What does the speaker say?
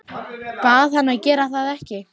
Bað hann að gera það ekki.